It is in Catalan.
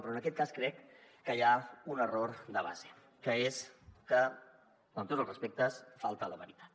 però en aquest cas crec que hi ha un error de base que és que amb tots els respectes falta a la veritat